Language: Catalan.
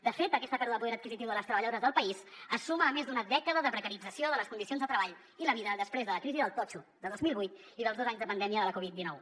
de fet aquesta pèrdua de poder adquisitiu de les treballadores del país es suma a més d’una dècada de precarització de les condicions de treball i la vida després de la crisi del totxo de dos mil vuit i dels dos anys de pandèmia de la covid dinou